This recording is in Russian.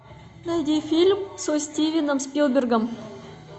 найди фильм со стивеном спилбергом